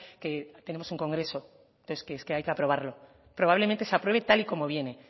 que tenemos un congreso entonces es que hay que aprobarlo probablemente se apruebe tal y como viene